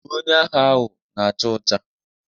Uwe onye agha ahụ na acha ọcha.